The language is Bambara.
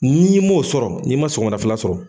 N''i m'o sɔrɔ, n'i ma sɔgɔmada fɛla sɔrɔ.